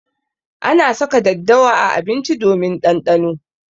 Ana saka daddawa a abinci domin ɗanɗano.